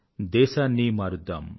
దేశాన్ని మారుద్దాం